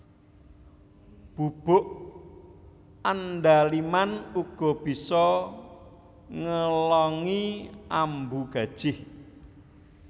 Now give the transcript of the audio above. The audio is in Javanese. Bubuk andaliman uga bisa ngelongi ambu gajih